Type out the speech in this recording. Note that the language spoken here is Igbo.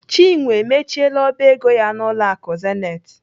Chinwe emechiela ọba ego ya n'ụlọ akụ Zenith.